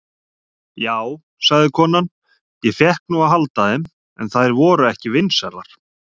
Já, sagði konan, ég fékk nú að halda þeim, en þær voru ekki vinsælar.